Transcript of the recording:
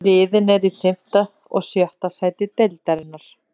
Liðin eru í fimmta og sjötta sæti deildarinnar.